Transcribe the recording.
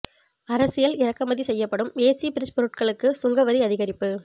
அரசியல் இறக்குமதி செய்யப்படும் ஏசி பிரிட்ஜ் பொருட்களுக்கு சுங்க வரி அதிகரிப்பு